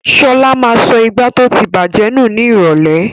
Ṣọlá ma sọ ìgbá tó ti bàjẹ́ nù ní ìrọ̀lẹ́.